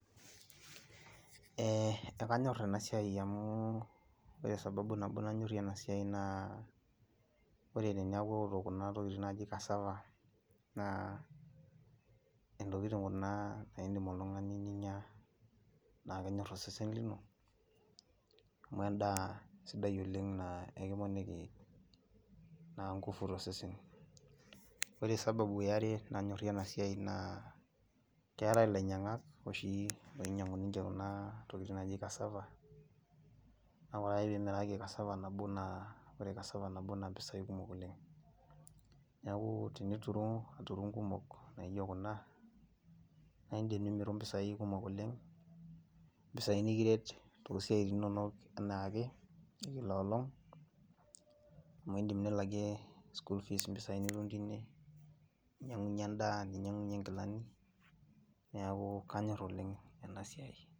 Ekanyor enasiai amu ore sababu nabo nayorrie enasiai naa ore ninye akeoto kuna tokiting naji cassava, naa intokiting kuna nidim oltung'ani ninya, na kenyor osesen lino, amu endaa sidai oleng naa ekiponiki naa ngufu tosesen. Ore sababu eare nanyorrie enasiai naa, keetae ilainyang'ak oshi oinyang'u ninche kuna tokiting naji cassava, na ore ake pimiraki cassava nabo naa, ore cassava nabo naa mpisai kumok oleng. Neeku tinituru inkumok nijo kuna, na idim nimiru mpisai kumok oleng, mpisai nikiret tosiaitin inonok enaake, kila olong, amu idim nilakie school fees mpisai nitum tine, ninyang'unye endaa, ninyang'unye nkilani, neeku kanyor oleng enasiai.